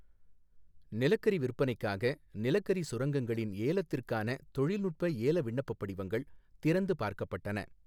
நிலக்கரி விற்பனைக்காக நிலக்கரி சுரங்கங்களின்ஏலத்திற்கான தொழில்நுட்ப ஏல விண்ணப்பப் படிவங்கள் திறந்து பார்க்கப்பட்டன.